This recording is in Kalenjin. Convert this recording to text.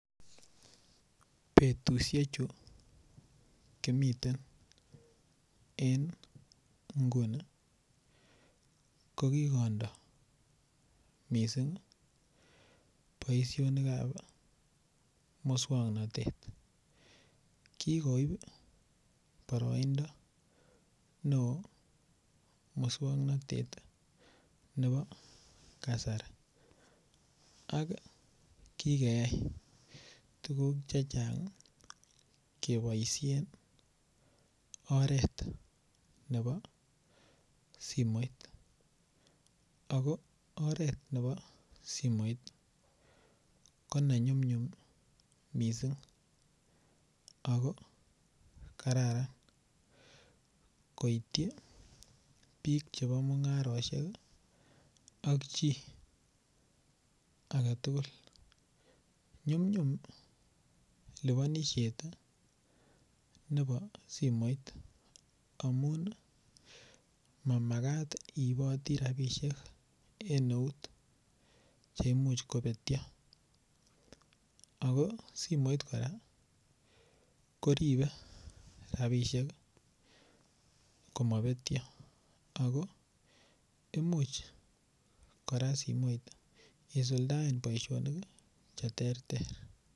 Betushechu komiten en inguni kokikondo missing' boisiokab muswoknotet kikoib boroindo neo muswoknotet nebo kasari ak kikeyau tugul chechang keboishen oret nebo simoit, ako oret nebo simoit konenyumnyum ako kararan koityi bik chebo mungaroshek ak chi aketugul nyumnyum libonishet nebo simoit mamakat iiboti rabishek en eut cheimuch kobetio ako simoit koraa koribe rabishek komobetio ako imuch koraa simoit isuldaen boisionik cheterter.